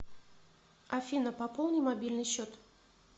афина пополни мобильный счет